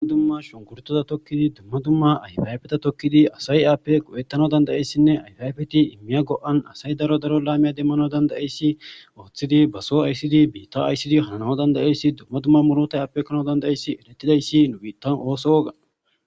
Dumma shunkurtoza tokkidi dumma dumma ayfaybeta tokkidi asay aappe qu'ettana dandayessinne ayfayfeti immiya go'an asay daro daro laamiya demmano danda'eyssi ooththidi baso aysidi biitta aysidi hananawo dandayeyssi dumma dumma murota appekkana danda'eyssi elettidayssi nu biittan ooso woga